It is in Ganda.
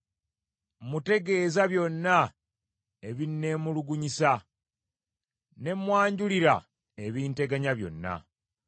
Mmutegeeza byonna ebinneemulugunyisa, ne mmwanjulira ebinteganya byonna.